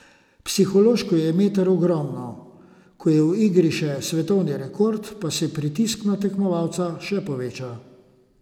Psihološko je meter ogromno, ko je v igri še svetovni rekord, pa se pritisk na tekmovalca še poveča.